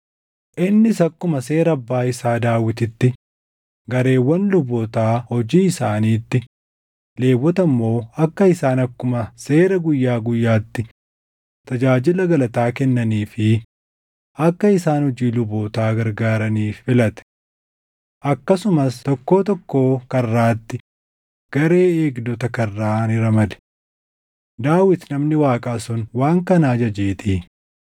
Innis akkuma seera abbaa isaa Daawititti gareewwan lubootaa hojii isaaniitti, Lewwota immoo akka isaan akkuma seera guyyaa guyyaatti tajaajila galataa kennanii fi akka isaan hojii lubootaa gargaaraniif filate. Akkasumas tokkoo tokkoo karraatti garee eegdota karraa ni ramade; Daawit namni Waaqaa sun waan kana ajajeetii.